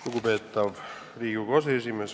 Lugupeetav Riigikogu aseesimees!